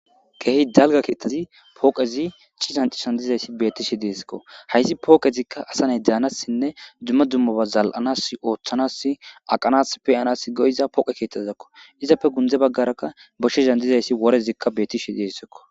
Kehi dala kethazi poqezi c'itan c'itan dizaysi betishe dizesiko heysi poqezika asa na'i danasinne duma dumaba zal'anas othanasi aqanas pe'anas go'za poqe ketazako izappe gunze bagaraka boshezan dizaysi worazi betishe dizeziko.